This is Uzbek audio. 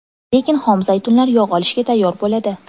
Lekin xom zaytunlar yog‘ olishga tayyor bo‘ladi.